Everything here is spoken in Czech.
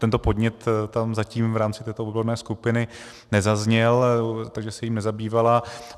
Tento podnět tam zatím v rámci této odborné skupiny nezazněl, takže se jím nezabývala.